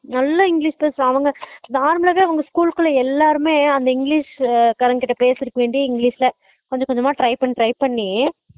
நல்லா english பேசுறன் அவங்க normal ஆவே அவங்க school குள்ள எல்லாருமே அந்த english காரான் பேசுருக்க வேண்டி english ல கொஞ்ச கொஞ்சமா try பண்ணி try பண்ணி